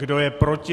Kdo je proti?